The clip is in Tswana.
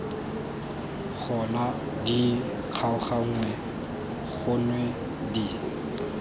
gona di kgaoganngwe gonwe di